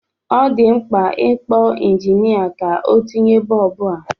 Ọ dị mkpa ị kpọ injinịa ka o tinye bọb a.